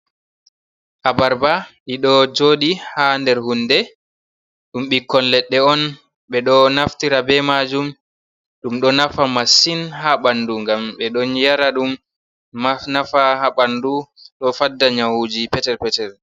Abarba ɗiɗo joɗi haa nder hunde. Ɗum bikkon leɗɗe on ɓe ɗo naftira be majum ɗum ɗo nafa masin haa ɓandu ngam ɓe ɗon yara ɗum nafa haa ɓandu, ɗo fadda nyahuji petel petel.